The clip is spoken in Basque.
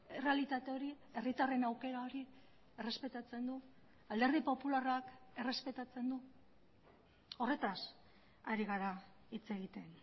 errealitate hori herritarren aukera hori errespetatzen du alderdi popularrak errespetatzen du horretaz ari gara hitz egiten